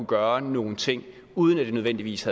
gøre nogle ting uden at det nødvendigvis